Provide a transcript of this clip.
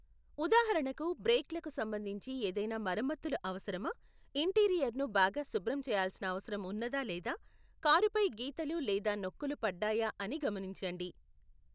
ఉదాహరణకు, బ్రేక్లకు సంబంధించి ఏదైనా మరమ్మత్తులు అవసరమా, ఇంటీరియర్ను బాగా శుభ్రం చేయాల్సిన అవసరం ఉన్నదా లేదా, కారుపై గీతలు లేదా నొక్కులు పడ్డాయా అని గమనించండి.